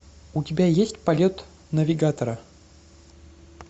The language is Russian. у тебя есть полет навигатора